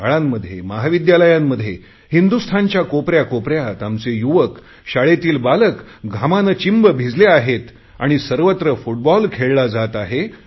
शाळांमध्ये महाविद्यालयांमध्ये हिंदुस्थानच्या कोपऱ्या कोपऱ्यात आमचे युवक शाळेतील बालके घामाने चिंब भिजले आहे आणि फुटबॉल खेळला जात आहे